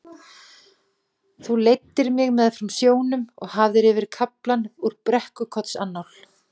Þú leiddir mig meðfram sjónum og hafðir yfir kaflann úr Brekkukotsannál.